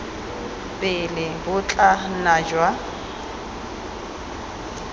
pele bo tla nna jwa